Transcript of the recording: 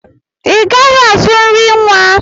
I gaghị azụ nri nwa!